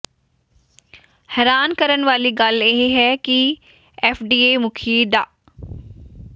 ਹੈਰਾਨ ਕਰਨ ਵਾਲੀ ਗੱਲ ਇਹ ਹੈ ਕਿ ਐੱਫਡੀਏ ਮੁਖੀ ਡਾ